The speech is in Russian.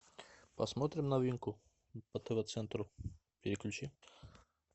посмотрим новинку по тв центру переключи